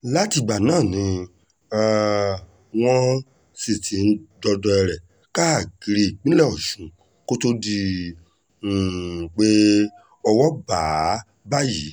látìgbà náà ni um wọ́n sì ti ń dọdẹ rẹ̀ káàkiri ìpínlẹ̀ ọ̀ṣun kó tóó di um pé owó bá a báyìí